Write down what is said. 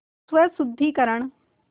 स्वशुद्धिकरण